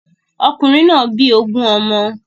Okùnrin náà bí ogun ọmọ.